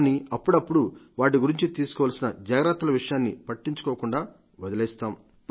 కానీ అప్పడప్పుడు వాటి గురించి తీసుకోవాల్సిన జాగ్రత్తల విషయాన్ని పట్టించుకోకుండా వదిలేస్తాం